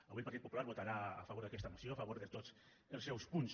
avui el partit popular votarà a favor d’aquesta moció a favor de tots els seus punts